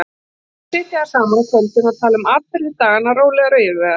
Og svo sitja þær saman á kvöldin og tala um atburði daganna rólegar og yfirvegaðar.